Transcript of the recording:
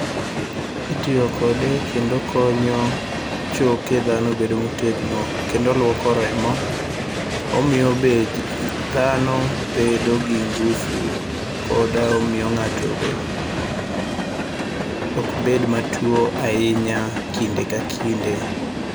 Itiyo kode kendo okonyo choke dhano bedo motegno kendo oluoko remo. Omiyo be dhano bedo gi ngufu koda omiyo ng'ato be ok bed matuo ahinya kinde ka kinde.